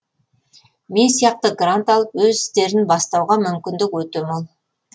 мен сияқты грант алып өз істерін бастауға мүмкіндік өте мол